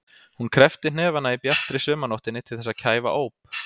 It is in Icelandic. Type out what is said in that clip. Hún kreppti hnefana í bjartri sumarnóttinni til þess að kæfa óp.